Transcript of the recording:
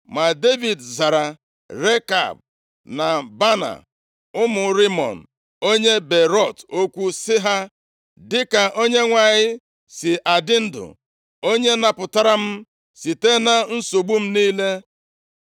Ma Devid zara Rekab na Baana ụmụ Rimọn onye Beerọt okwu sị ha, “Dịka Onyenwe anyị si adị ndụ, onye napụtara m site na nsogbu m niile,